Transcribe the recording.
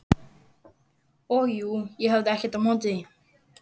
Og jú, ég hafði ekkert á móti því.